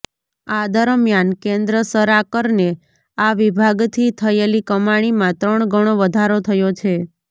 આ દરમિયાન કેન્દ્ર સરાકરને આ વિભાગથી થયેલી કમાણીમાં ત્રણ ગણો વધારો થયો છે